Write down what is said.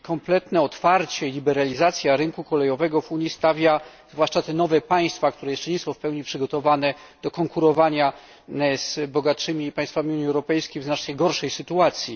Kompletne otwarcie i liberalizacja rynku kolejowego w Unii stawia, zwłaszcza te nowe państwa, które jeszcze nie są w pełni przygotowane do konkurowania z bogatszymi państwami Unii Europejskiej, w znacznie gorszej sytuacji.